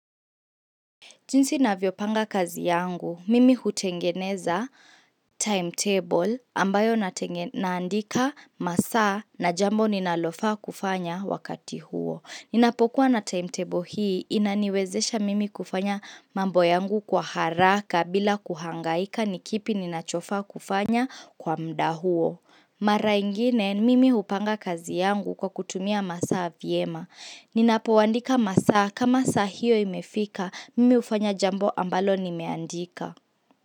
Jinsi navyopanga kazi yangu, mimi hutengeneza timetable ambayo naandika masaa na jambo ninalofaa kufanya wakati huo. Ninapokuwa na timetable hii, inaniwezesha mimi kufanya mambo yangu kwa haraka bila kuhangaika ni kipi ninachofaa kufanya kwa muda huo. Mara ingine mimi hupanga kazi yangu kwa kutumia masaa vyema. Ninapoandika masaa kama saa hiyo imefika, mimi hufanya jambo ambalo nimeandika.